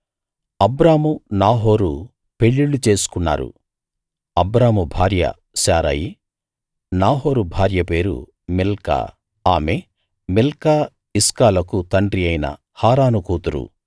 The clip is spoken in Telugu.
అబ్రాము నాహోరు పెళ్ళిళ్ళు చేసుకున్నారు అబ్రాము భార్య శారయి నాహోరు భార్య పేరు మిల్కా ఆమె మిల్కా ఇస్కాలకు తండ్రి అయిన హారాను కూతురు